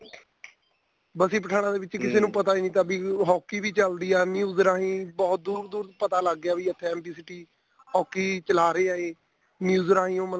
ਬਸੀ ਪਠਾਣਾ ਦੇ ਵਿੱਚ ਨੂੰ ਪਤਾ ਜੀ hokey ਵੀ ਚੱਲਦੀ ਆ news ਰਾਹੀ ਬਹੁਤ ਦੂਰ ਦੂਰ ਤੱਕ ਪਤਾ ਲੱਗ ਗਿਆ ਵੀ ਉੱਥੇ MB city hokey ਚਲਾ ਰਿਹਾ ਏ news ਰਾਹੀ ਉਹ ਮਤਲਬ